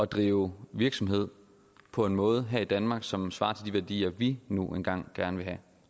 drive virksomhed på en måde her i danmark som ikke svarer til de værdier vi nu engang gerne